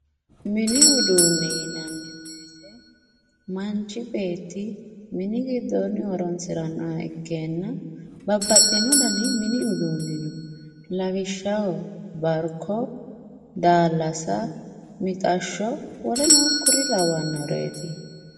mini uduunne yinanni woyiite manchi beetti mini giddoonni horonsirannoha ikkanna babbaxino danai mini uduunni no lawishshaho barko daallasa mixashsho woleno kuri lawannoreeti.